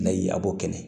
N'a yi a b'o kɛnɛ